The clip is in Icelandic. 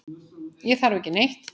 Ég þarf ekki neitt.